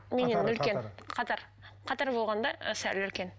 меннен үлкен қатар қатар болғанда сәл үлкен